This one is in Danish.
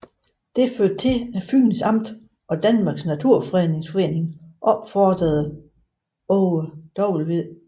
Det førte til at Fyns Amt og Danmarks Naturfredningsforening opfordrede Aage V